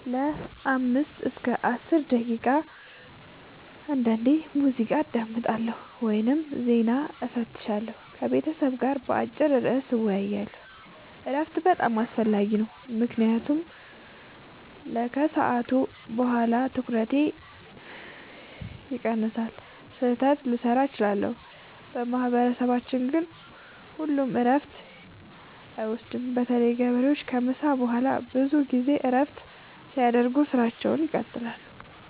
ለ5-10 ደቂቃ። · አንዳንዴ ሙዚቃ አዳምጣለሁ ወይም ዜና እፈትሻለሁ። · ከቤተሰብ ጋር በአጭር ርዕስ እወያያለሁ። እረፍት በጣም አስፈላጊ ነው ምክንያቱም ያለሱ ከሰዓት በኋላ ትኩረቴ ይቀንሳል፣ ስህተት ልሠራ እችላለሁ። በማህበረሰባችን ግን ሁሉም እረፍት አይወስዱም – በተለይ ገበሬዎች ከምሳ በኋላ ብዙ ጊዜ እረፍት ሳያደርጉ ሥራቸውን ይቀጥላሉ።